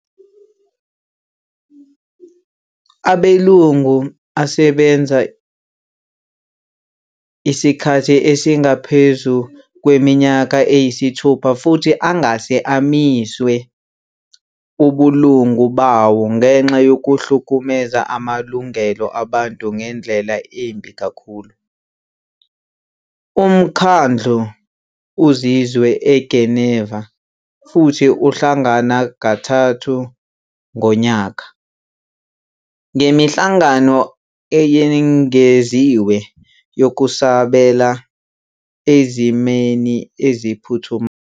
Amalungu asebenza isikhathi esingaphezu kweminyaka eyisithupha futhi angase amiswe ubulungu bawo ngenxa yokuhlukumeza amalungelo abantu ngendlela embi kakhulu. Umkhandlu uzinze eGeneva, futhi uhlangana kathathu ngonyaka, ngemihlangano eyengeziwe yokusabela ezimeni eziphuthumayo.